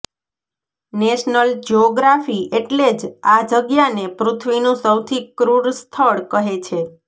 national Geography એટલે જ આ જગ્યાને પૃથ્વીનું સૌથી ક્રુર સ્થળ કહે છે